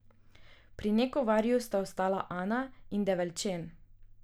Pri Nekovarju sta ostala Ana in Develčen.